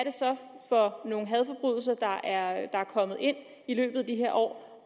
for nogle hadforbrydelser der er kommet ind i løbet af de her år